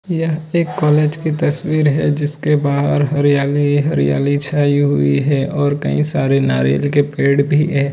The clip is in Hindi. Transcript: यह एक कॉलेज की तस्वीर है जिसके बाहर हरियाली हरियाली छाई हुई है और कईं सारे नारियल के पेड़ भी है।